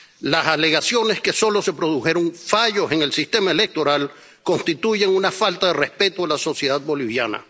Las alegaciones de que solo se produjeron fallos en el sistema electoral constituyen una falta de respeto a la sociedad boliviana.